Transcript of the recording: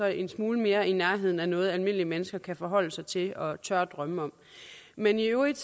en smule mere i nærheden af noget almindelige mennesker kan forholde sig til og tør drømme om men i øvrigt